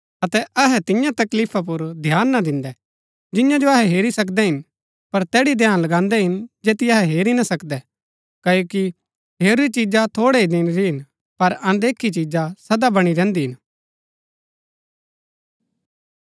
अतै अहै तिन्या तकलीफा पुर ध्यान ना दिन्दै जिन्या जो अहै हेरी सकदै हिन पर तैड़ी ध्यान लगान्दै हिन जैतिओ अहै हेरी ना सकदै क्ओकि हेरूरी चिजा थोड़ै ही दिन री हिन पर अनदेखी चिजा सदा बणी रैहन्‍दी हिन